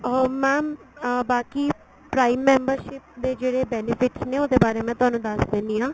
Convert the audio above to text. ਅਹ mam ਬਾਕੀ prime membership ਦੇ ਜਿਹੜੇ benefits ਨੇ ਉਹਦੇ ਬਾਰੇ ਮੈਂ ਤੁਹਾਨੂੰ ਦੱਸ ਦਿੰਨੀ ਆ